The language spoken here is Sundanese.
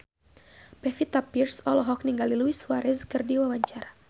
Pevita Pearce olohok ningali Luis Suarez keur diwawancara